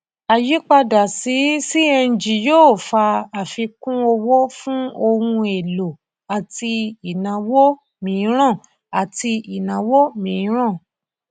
àyípadà sí cng yóò fa àfikún owó fún ohun èlò àti ìnáwó mìíràn àti ìnáwó mìíràn